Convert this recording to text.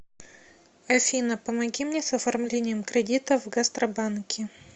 афина помоги мне с оформлением кредита в гастробанке